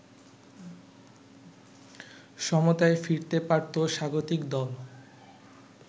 সমতায় ফিরতে পারতো স্বাগতিক দল